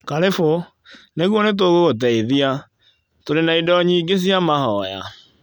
Karĩbũ. Nĩguo nĩ tũgũgũteithia. Tũrĩ na indo nyingĩ cia mahoya.